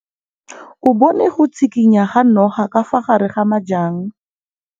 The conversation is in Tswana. O bone go tshikinya ga noga ka fa gare ga majang.